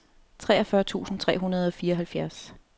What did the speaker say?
treogfyrre tusind tre hundrede og fireoghalvfjerds